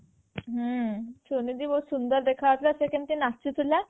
ହୁଁ ସେମିତି ବହୁତ ସୁନ୍ଦର ଦେଖା ଯାଉଥିଲା ସେ ସେମିତି ନାଚୁ ଥିଲା